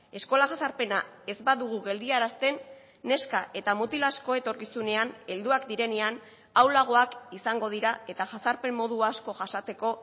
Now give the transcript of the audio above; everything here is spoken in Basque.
eskola jazarpena ez badugu geldiarazten neska eta mutil asko etorkizunean helduak direnean ahulagoak izango dira eta jazarpen modu asko jasateko